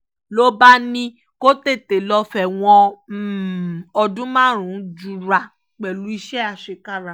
ló bá ní kó tètè lọ́ọ́ fẹ̀wọ̀n ọdún márùn-ún jura pẹ̀lú iṣẹ́ àṣekára